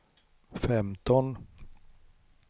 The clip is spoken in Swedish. femton